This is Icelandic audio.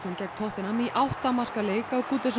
gegn tottenham í átta marka leik á